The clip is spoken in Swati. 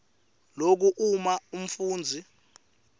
loku uma umfundzi